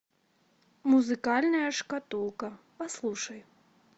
музыкальная шкатулка послушай